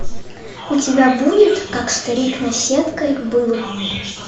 у тебя будет как старик наседкой был